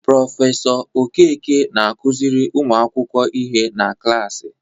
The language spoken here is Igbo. Prọfesọ Okeke na-akụziri ụmu akwụkwọ ihe na klaasị.